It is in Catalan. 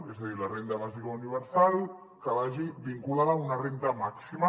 és a dir la renda bàsica universal que vagi vinculada a una renda màxima